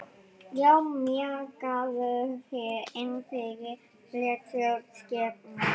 Já, mjakaðu þér innfyrir, blessuð skepnan.